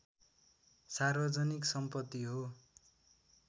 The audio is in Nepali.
सार्वजनिक सम्पति हो